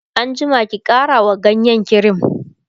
an jima ki ƙara wa ganyen kirim!